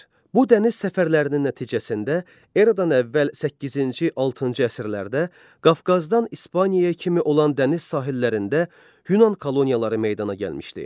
Bu dəniz səfərlərinin nəticəsində Eradan əvvəl səkkizinci-altıncı əsrlərdə Qafqazdan İspaniyaya kimi olan dəniz sahillərində Yunan koloniyaları meydana gəlmişdi.